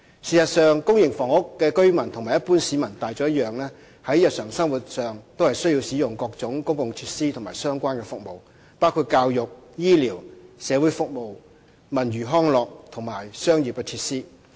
事實上，公營房屋的居民和一般市民大眾一樣，在日常生活上，需要使用多種公共設施和相關服務，包括教育、醫療、社會服務、文娛康樂及商業設施。